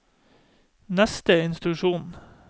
neste instruksjon